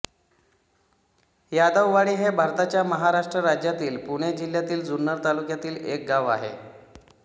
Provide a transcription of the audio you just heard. यादववाडी हे भारताच्या महाराष्ट्र राज्यातील पुणे जिल्ह्यातील जुन्नर तालुक्यातील एक गाव आहे